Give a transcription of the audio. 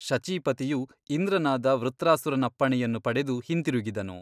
ಶಚೀಪತಿಯು ಇಂದ್ರನಾದ ವೃತ್ರಾಸುರನಪ್ಪಣೆಯನ್ನು ಪಡೆದು ಹಿಂತಿರುಗಿದನು.